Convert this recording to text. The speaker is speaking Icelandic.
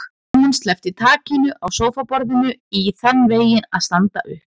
Hún sleppti takinu á sófaborðinu í þann veginn að standa upp.